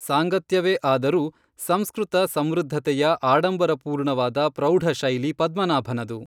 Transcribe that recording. ಸಾಂಗತ್ಯವೆ ಆದರೂ ಸಂಸ್ಕೃತ ಸಮೃದ್ಧತೆಯ ಆಡಂಬರ ಪೂರ್ಣವಾದ ಪ್ರೌಢಶೈಲಿ ಪದ್ಮನಾಭನದು.